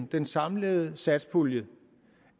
den samlede satspulje